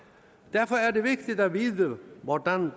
derfor er det vigtigt at vide hvordan